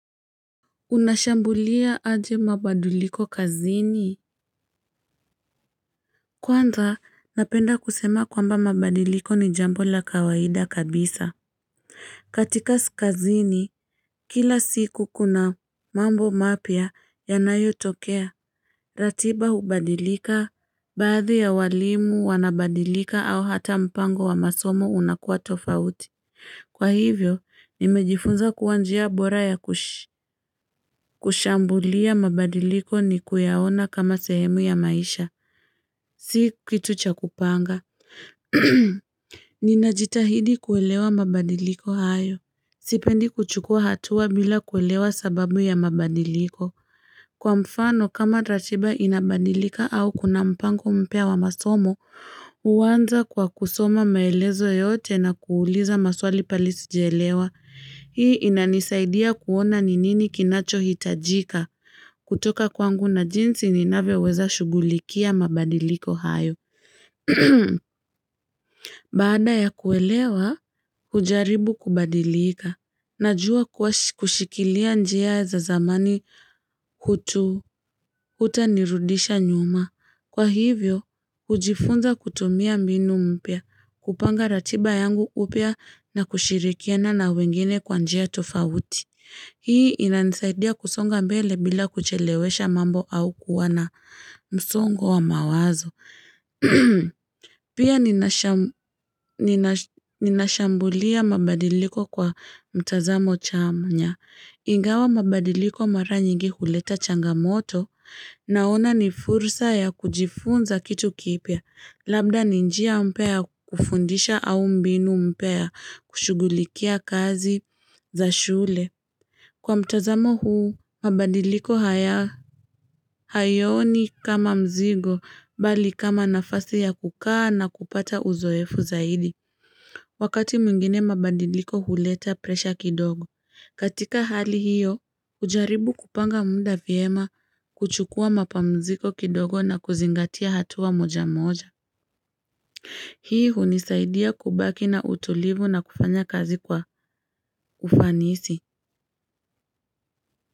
Unashambulia aje mabadiliko kazini kwanza napenda kusema kwamba mabadiliko ni jambo la kawaida kabisa katika skazini Killa siku kuna mambo mapya yanayotokea ratiba hubadilika baadhi ya walimu wanabadilika au hata mpango wa masomo unakuwa tofauti kwa hivyo nimejifunza kuwa njia bora ya kushi. Kushambulia mabadiliko ni kuyaona kama sehemu ya maisha si kitu cha kupanga. Ninajitahidi kuelewa mabadiliko hayo sipendi kuchukua hatua bila kuelewa sababu ya mabadiliko kwa mfano kama ratiba inabadilika au kuna mpango mpya wa masomo, huwanza kwa kusoma maelezo yote na kuuliza maswali pali sijaelewa. Hii inanisaidia kuona ni nini kinachohitajika kutoka kwangu na jinsi ninavyoweza shughulikia mabadiliko hayo. Baada ya kuelewa hujaribu kubadilika. Najua kuwa kushikilia njia za zamani hutu hutanirudisha nyuma. Kwa hivyo hujifunza kutumia mbinu mpya kupanga ratiba yangu upya na kushirikiana na wengine kwa njia tofauti. Hii inanisaidia kusonga mbele bila kuchelewesha mambo au kuwa na msongo wa mawazo. Pia ninasham ninashambulia mabadiliko kwa mtazamo cha mnya. Ingawa mabadiliko mara nyingi huleta changamoto naona ni fursa ya kujifunza kitu kipya. Labda ni njia mpya ya kufundisha au mbinu mpya ya kushughulikia kazi za shule. Kwa mtazamo huu mabadiliko haya hayoni kama mzigo bali kama nafasi ya kukaa na kupata uzoefu zaidi Wakati mwingine mabadiliko huleta presha kidogo katika hali hiyo ujaribu kupanga muda vyema kuchukua mapamziko kidogo na kuzingatia hatua moja moja. Hii hunisaidia kubaki na utulivu na kufanya kazi kwa ufanisi.